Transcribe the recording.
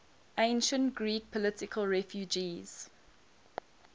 ancient greek political refugees